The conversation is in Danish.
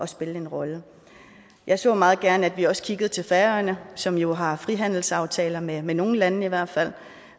spille en rolle jeg så meget gerne at vi også kiggede til færøerne som jo har frihandelsaftaler med med nogle lande i hvert fald